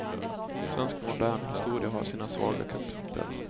Svensk modern historia har sina svaga kapitel.